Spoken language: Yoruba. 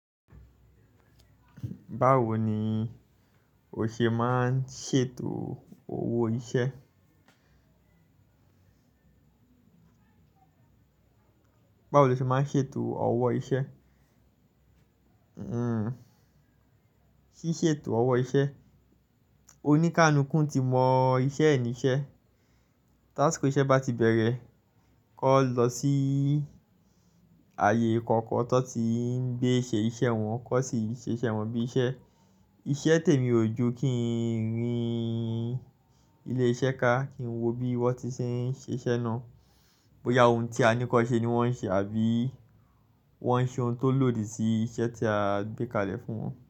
Báwo ni o ṣe máa ń ṣètò ọwọ́ iṣẹ́? Báwo lo ṣe máa ń ṣètò ọwọ́ iṣẹ́? Hmm, ṣíṣètò ọwọ́ iṣẹ́. Òní ká lulukú ti mọ iṣẹ́ ní iṣẹ́. Tásiko iṣẹ́ bá ti bẹ̀rẹ̀, kọ lọ sí ààyè kọ̀ọ̀kan tí wọ́n ti ń gbé ṣe iṣẹ́ wọn, kọ́ sì ṣiṣẹ́ wọn bí iṣẹ́. Iṣẹ́ tèmi ò ju kí n rí ilé iṣẹ́ ká, kí n wo bí wọ́n ti ṣe ń ṣe iṣẹ́ náà. Bóyá ohun tí a ní kan ṣẹ́ ni wọ́n ń ṣe àbí wọ́n ń ṣe ohun tó lòdì sí iṣẹ́ tí a gbé kalẹ̀ fún wọn.